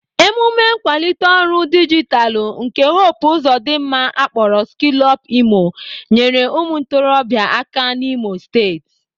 Emume nkwalite ọrụ dijitalụ nke Hope Uzodimma akpọrọ Skillupimo nyere ụmụ ntorobịa aka n'Imo steeti.